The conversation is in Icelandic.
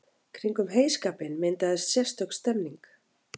Kringum heyskapinn myndaðist sérstök stemmning.